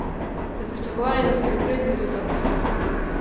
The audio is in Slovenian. Ste pričakovali, da se bo prej zgodil ta preskok?